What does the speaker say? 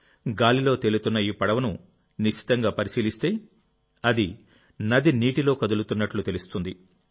గాలిలో తేలుతున్న ఈ పడవను నిశితంగా పరిశీలిస్తే అది నది నీటిలో కదులుతున్నట్లు తెలుస్తుంది